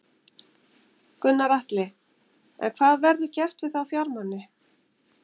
Gunnar Atli: En hvað verður gert við þá fjármuni?